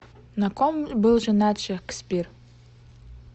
на ком был женат шекспир